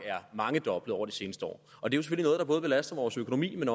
er mangedoblet over det seneste år og det er jo både belaster vores økonomi men